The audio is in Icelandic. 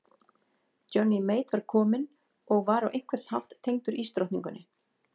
Johnny Mate var kominn og var á einhvern hátt tengdur ísdrottningunni.